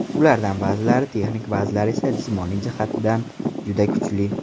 Ulardan ba’zilari texnik, ba’zilari esa jismoniy jihatdan juda kuchli.